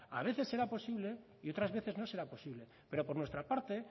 a veces será posible y otras veces no será posible pero por nuestra parte